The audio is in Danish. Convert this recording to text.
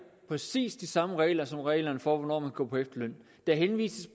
præcis de samme regler som reglerne for hvornår man kan gå på efterløn der henvises